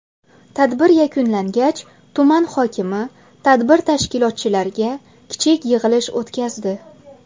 Tadbir yakunlangach tuman hokimi tadbir tashkilotchilariga kichik yig‘ilish o‘tkazdi.